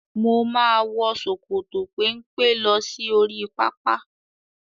Mo máa wọ ṣòkòtò pẹ́mpẹ́ lọ sí oríi pápá.